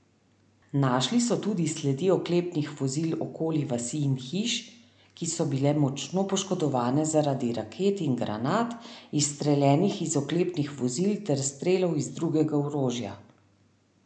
Našli so tudi sledi oklepnih vozil okoli vasi in hiš, ki so bile močno poškodovane zaradi raket in granat, izstreljenih iz oklepnih vozil, ter strelov iz drugega orožja.